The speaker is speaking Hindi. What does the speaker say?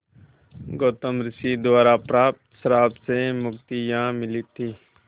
गौतम ऋषि द्वारा प्राप्त श्राप से मुक्ति यहाँ मिली थी